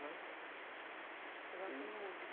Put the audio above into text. Né? Você gosta de música?